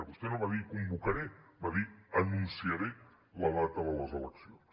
vostè no va dir convocaré va dir anunciaré la data de les eleccions